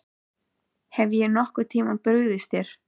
Hef ég nokkurn tíma brugðist þér?